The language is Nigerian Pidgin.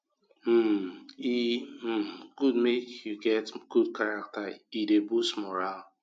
um e um good make you get good character e dey boost morale